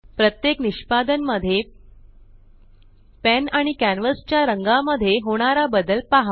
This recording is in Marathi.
प्रत्येक निष्पादन मध्ये पेन आणि कॅन्वस च्या रंगा मध्ये होणारा बदल पहा